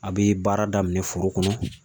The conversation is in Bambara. A bɛ baara daminɛ foro kɔnɔ